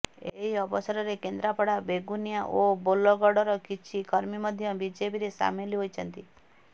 ଏହି ଅବସରରେ କେନ୍ଦ୍ରାପଡ଼ା ବେଗୁନିଆ ଓ ବୋଲଗଡ଼ର କିଛି କର୍ମୀ ମଧ୍ୟ ବିଜେପିରେ ସାମିଲ ହୋଇଛନ୍ତି